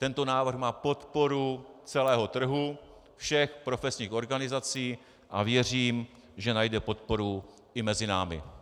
Tento návrh má podporu celého trhu, všech profesních organizací a věřím, že najde podporu i mezi námi.